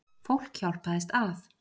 Fólk hjálpaðist að.